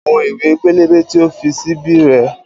Àwọn ìwé pélébé tí o fi sí bí rèé